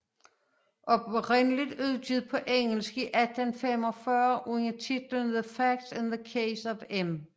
Oprindeligt udgivet på engelsk i 1845 under titlen The Facts in the Case of M